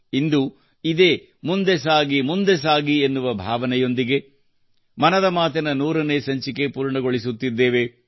ನಾವು ಇಂದು ಇದೇ ಮುಂದೆ ಸಾಗಿ ಮುಂದೆ ಸಾಗಿ ಎನ್ನುವ ಭಾವನೆಯೊಂದಿಗೆ ಮನದ ಮಾತಿನ 100 ನೇ ಸಂಚಿಕೆ ಪೂರ್ಣಗೊಳಿಸುತ್ತಿದ್ದೇವೆ